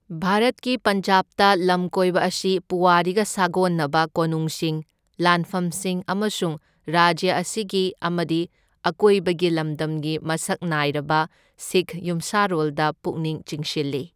ꯚꯥꯔꯠꯀꯤ ꯄꯟꯖꯥꯕꯇ ꯂꯝꯀꯣꯏꯕ ꯑꯁꯤ ꯄꯨꯋꯥꯔꯤꯒ ꯁꯥꯒꯣꯟꯅꯕ ꯀꯣꯅꯨꯡꯁꯤꯡ, ꯂꯥꯟꯐꯝꯁꯤꯡ ꯑꯃꯁꯨꯡ ꯔꯥꯖ꯭ꯌ ꯑꯁꯤꯒꯤ ꯑꯃꯗꯤ ꯑꯀꯣꯢꯕꯒꯤ ꯂꯝꯗꯝꯒꯤ ꯃꯁꯛ ꯅꯥꯢꯔꯕ ꯁꯤꯈ ꯌꯨꯝꯁꯥꯔꯣꯜꯗ ꯄꯨꯛꯅꯤꯡ ꯆꯤꯡꯁꯤꯜꯂꯤ꯫